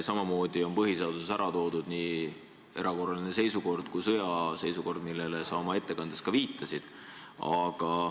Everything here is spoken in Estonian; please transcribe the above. Samamoodi on põhiseaduses ära toodud nii erakorraline seisukord kui sõjaseisukord, millele sa oma ettekandes ka viitasid.